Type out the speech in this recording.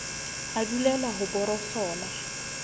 a dulela ho e borosola